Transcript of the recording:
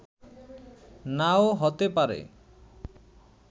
নাও হতে পারে